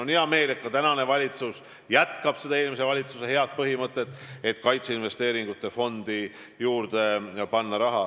On hea meel, et ka praegune valitsus hoiab seda eelmise valitsuse head põhimõtet, et kaitseinvesteeringute fondi tuleb raha juurde panna.